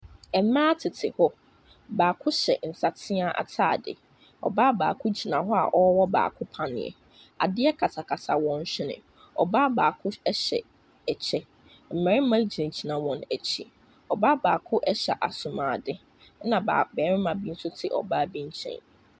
Mmaa tete hɔ. Baako hyɛ nsateaa atadeɛ. Ɔbaa baako gyina hɔ a ɔrewɔ baako paneɛ. Adeɛ katakata wɔn hwene. Ɔbaa baako hyɛ ɛkyɛ. Mmarima gyinagyina wɔn akyi. Ɔbaa baako hyɛ asomuade, ɛna baa barima bi nso te ɔbaa bi nkyɛn.